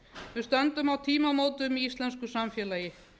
við stöndum á tímamótum í íslensku samfélagi